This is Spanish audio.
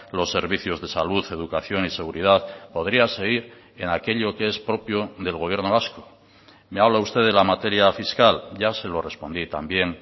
los servicios de salud educación y seguridad podría seguir en aquello que es propio del gobierno vasco me habla usted de la materia fiscal ya se lo respondí también